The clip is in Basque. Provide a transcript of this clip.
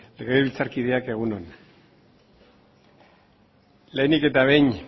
legebiltzarkideak egun on lehenik eta behin